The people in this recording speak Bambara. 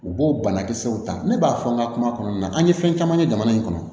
U b'o banakisɛw ta ne b'a fɔ n ka kuma kɔnɔna na an ye fɛn caman kɛ jamana in kɔnɔ